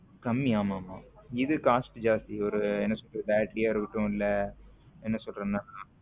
கம்மி ஆமா ஆமா இதுக்கு காசு ஜாஸ்தி என்ன சொல்றது ஒரு battery யா இருக்கட்டும் இல்ல என்ன சொல்றதுன்னா